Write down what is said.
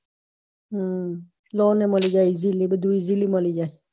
હમ lolan મળી જાય easily બધું easily મળી જાય